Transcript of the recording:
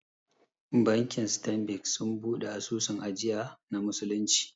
Bankin Stanbic sun buɗe asusun ajiya na musulunci